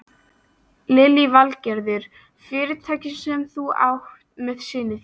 Lillý Valgerður: Fyrirtækið sem þú átt með syni þínum?